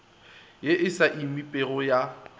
ye e sa emipego ya